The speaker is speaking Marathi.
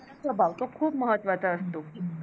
स्वभाव महत्त्वाचा असतो.